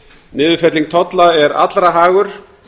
niðurfelling tolla er allra hagur